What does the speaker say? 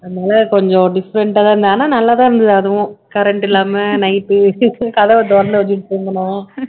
அதனால கொஞ்சம் different ஆதான் இருந்து ஆனா நல்லாதான் இருந்தது அதுவும் current இல்லாம night கதவை திறந்து வெச்சுட்டு தூங்குனோம்